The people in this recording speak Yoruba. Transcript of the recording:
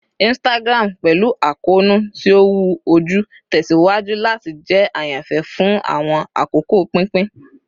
Instagram, pẹlu akoonu ti o wu oju, tẹsiwaju lati jẹ ayanfẹ fun awọn akoko pinpin